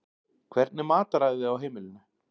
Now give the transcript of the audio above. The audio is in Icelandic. Hvernig er mataræðið á heimilinu?